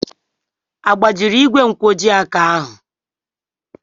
Agbajiri igwe nkwojiaka ahụ?